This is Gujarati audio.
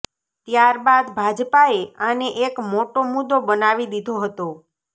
ત્યારબાદ ભાજપાએ આને એક મોટો મુદ્દો બનાવી દીધો હતો